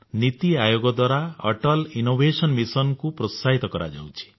ନୀତି ଆୟୋଗ ଦ୍ୱାରା Atal innovation mission କୁ ପ୍ରୋତ୍ସାହିତ କରାଯାଉଛି